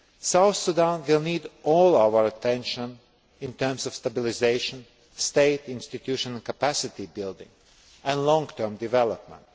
South Sudan will need all our attention in terms of stabilisation, state institution and capacity building and long term development.